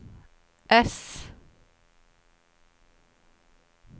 S